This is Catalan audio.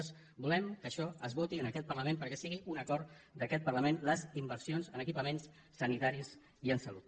nosaltres volem que això es voti en aquest parlament perquè siguin un acord d’aquest parlament les inversions en equipaments sanitaris i en salut